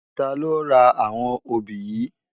Tà ló rá áwòn óbi yi?